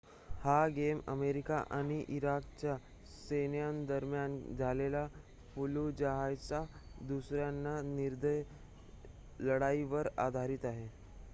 हा game America आणि इराकच्या सैन्यादरम्यान झालेल्या फल्लुजाहच्या दुसऱ्या निर्दयी लढाईवर आधारीत आहे